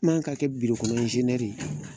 N ma ka kɛ ye